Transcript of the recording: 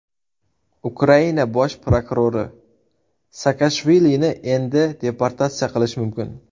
Ukraina bosh prokurori: Saakashvilini endi deportatsiya qilish mumkin.